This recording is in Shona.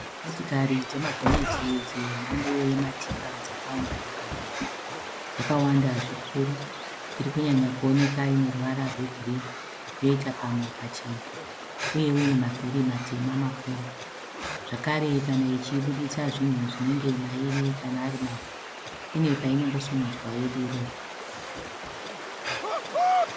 Motokari dzemagonyeti dzemhando yematipa dzakaungana panzvimbo dzakawanda zvikuru. Irikunyanya kuoneka ine ruvara rwegirini yoita pamwe pachena uyewo ine mavhiri matema makuru, zvakare kana ichibuditsa zvinhu zvinenge mairi kana ari mavhu ine painongo simudzwa yodurura.